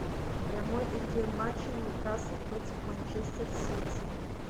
прямой эфир матча ньюкасл против манчестер сити